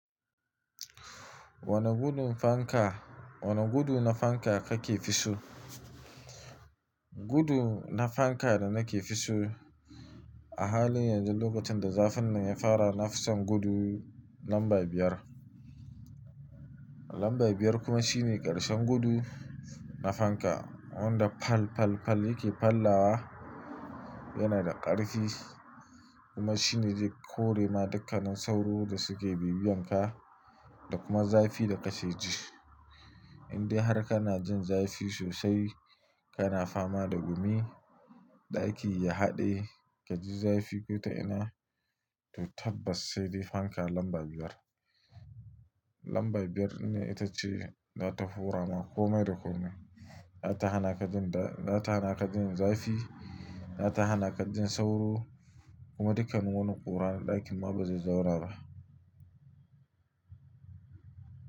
Wane gudun fanka, wane gudu na fanka kake fi so? Gudu na fanka da nake fi so a halin yanzu lokacin da zafin nan ya fara, nafi son gudu lamba biyar. Lamba biyar kuma shine ƙarshen gudu na fanka. Wanda pal pal pal yake pallawa, yana da ƙarfi kuma shine zai kore ma dukkanin sauro da suke bibiyan ka da kuma zafi da ka ke ji. Indai har kana jin zafi sosai, kana fama da gumi, ɗaki ya haɗe, ka ji zafi ko ta ina, to tabbas sai dai fanka lamba biyar. Lamba biyar ne ita ce za ta horoma komai da komai. Za ta hana ka jin da, za ta hana ka jin zafi, za ta hana ka jin sauro kuma dukkan wani ƙura ɗakin ma bazai zauna ba.